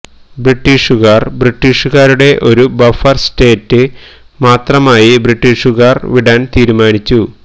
ബ്രിട്ടീഷുകാർ ബ്രിട്ടീഷുകാരുടെ ഒരു ബഫർ സ്റ്റേറ്റ് മാത്രമായി ബ്രിട്ടീഷുകാർ വിടാൻ തീരുമാനിച്ചു